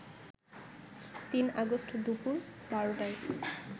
৩ August দুপুর ১২টায়